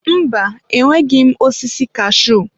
Mba, enweghị m osisi kashuu